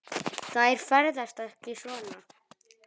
Þær ferðast ekki svona.